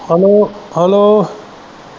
hello hello